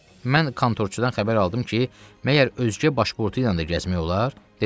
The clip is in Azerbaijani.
Mən kontorçudan xəbər aldım ki, məyər özgə başpurtu ilə də gəlmək olar?